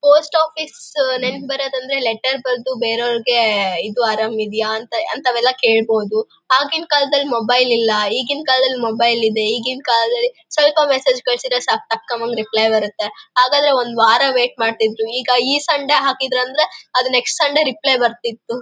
Post office ನೆನಪ್ ಬರೋದ್ ಅಂದ್ರೆ ಲೆಟರ್ ಬರ್ದು ಇದು ಅರಾಮ್ ಇದೆಯಾ ಅಂತಾವೆಲ್ಲ ಕೇಳ್ಬಹುದು ಆಗಿನ ಕಾಲದಲ್ಲಿ ಮೊಬೈಲ್ ಇಲ್ಲ ಈಗಿನ ಕಾಲದಲ್ಲಿ ಮೊಬೈಲ್ ಇದೆ ಈಗಿನ ಕಾಲದಲ್ಲಿಸ್ವಲ್ಪ ಮೆಸ್ಸೇಜ್ ಕಳ್ಸಿದ್ರೆ ಸಾಕು ಟಕ್ ಒಂದು ರಿಪ್ಲೇ ಬರುತ್ತೆ ಹಾಗಾದ್ರೆ ಒಂದ್ ವಾರ ವೇಟ್ ಮಾಡ್ತಿದ್ರು ಈಗ ಈ ಸಂಡೆ ಹಾಕಿದ್ರೆ ನೆಕ್ಸ್ಟ್ ಸಂಡೆ ಸಂಡೆ ರಿಪ್ಲೇ ಬರ್ತಿತ್ತು .